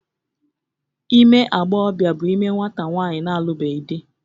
Ime agbọghọbịa bụ ime nwata nwaanyị na-alụbeghị dị